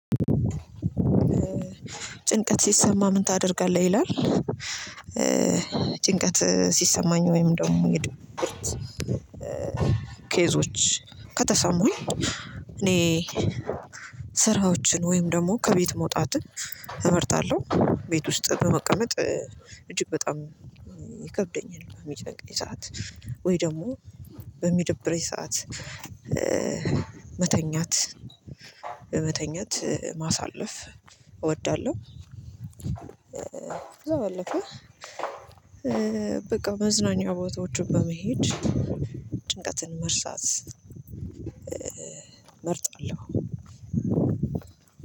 ጭንቀት ሲሰማ ምን ታደርጋለህ? ይላል ጭንቀት ሲሰማኝ ወይም ደግሞ የድብርት ኬዞች ከተሰሙኝ እኔ ስራዎችን ወይም ደግሞ ከቤት መውጣትን እመርጣለሁ ቤት ውስጥ በመቀመጥ እጅግ በጣም ይከብደኛል በሚጨንቀኝ ሰዓት ወይ ደግሞ በሚደብረኝ ሰዓት መተኛት መተኛት ማሳለፍ እወዳለሁ ከዛ ባለፈ በቃ መዝናኛ ቦታዎችን በመሄድ ጭንቀትን መርሳት እመርጣለሁ